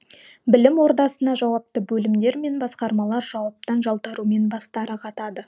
білім ордасына жауапты бөлімдер мен басқармалар жауаптан жалтарумен бастары қатады